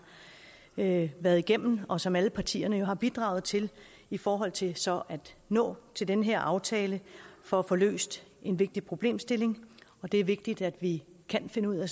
været været igennem og som alle partierne jo har bidraget til i forhold til så at nå til den her aftale for at få løst en vigtig problemstilling det er vigtigt at vi kan finde ud af